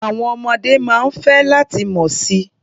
Àwọn ọmọdé máa ń fẹ́ láti mọ̀ si.